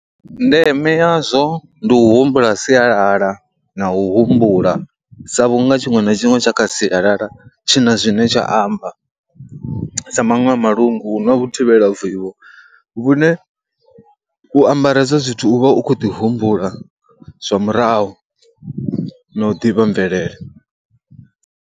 Ndeme yazwo ndi u humbula sialala na u humbula sa vhunga tshiṅwe na tshiṅwe tsha kha sialala tshi na zwine tsha amba sa maṅwe ha malungu hu na vhu thivhela vivho vhune u ambara hezwo zwithu u vha u khou ḓi humbula zwa murahu no u ḓivha mvelele.